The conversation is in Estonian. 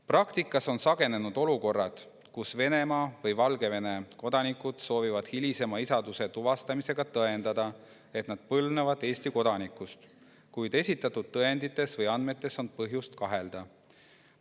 Praktikas on sagenenud olukorrad, kus Venemaa või Valgevene kodanikud soovivad hilisema isaduse tuvastamisega tõendada, et nad põlvnevad Eesti kodanikust, kuid esitatud tõendites või andmetes on põhjust kahelda.